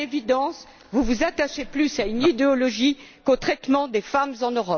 À l'évidence vous vous attachez plus à une idéologie qu'au traitement des femmes en